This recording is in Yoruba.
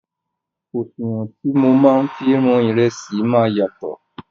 Òṣùwọ̀n tí mọ máa fi wọn ìrẹsì máa yàtọ̀.